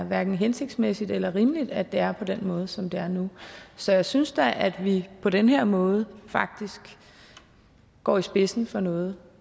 hverken hensigtsmæssigt eller rimeligt at det er på den måde som det er nu så jeg synes da at vi på den her måde faktisk går i spidsen for noget